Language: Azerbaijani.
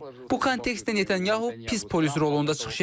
Bu kontekstdə Netanyahu pis polis rolunda çıxış edir.